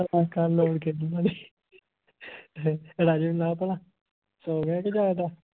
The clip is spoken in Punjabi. ਕੱਲ ਕਿਸੇ ਹੋਰ ਨੂੰ ਲਾ ਲਈ। ਰਾਜੇ ਨੂੰ ਲਾ ਭਲਾ ਸੌ ਗਿਆ ਕਿ ਜਾਗਦਾ।